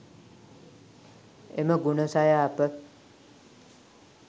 එම ගුණ සය අප